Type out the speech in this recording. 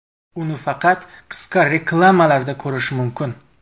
Uni faqat qisqa reklamalarda ko‘rish mumkin.